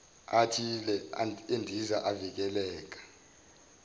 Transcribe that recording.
athile endiza avikela